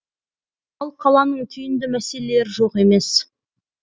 ал қаланың түйінді мәселелері жоқ емес